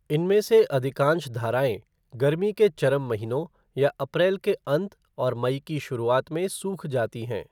इनमें से अधिकांश धाराएँ गर्मी के चरम महीनों या अप्रैल के अंत और मई की शुरुआत में सूख जाती हैं।